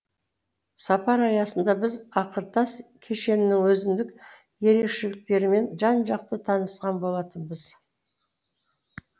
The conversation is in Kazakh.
сапар аясында біз ақыртас кешенінің өзіндік ерекшеліктерімен жан жақты танысқан болатынбыз